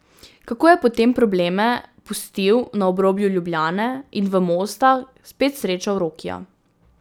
Kako je potem probleme pustil na obrobju Ljubljane in v Mostah spet srečal Rokija.